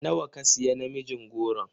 Nawa ka siya namijin goron?